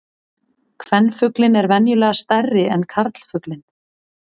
Kvenfuglinn er venjulega stærri en karlfuglinn.